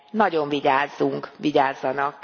Nagyon vigyázzunk, vigyázzanak.